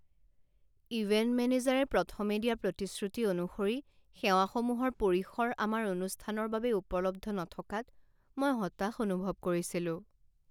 Event মেনেজাৰে প্ৰথমে দিয়া প্ৰতিশ্ৰুতি অনুসৰি সেৱাসমূহৰ পৰিসৰ আমাৰ অনুষ্ঠানৰ বাবে উপলব্ধ নথকাত মই হতাশ অনুভৱ কৰিছিলোঁ।